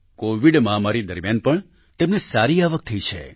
Covid મહામારી દરમિયાન પણ તેમને સારી આવક થઈ છે